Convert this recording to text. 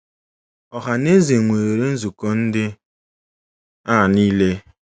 Ọha na eze nwere nzukọ ndị a niile.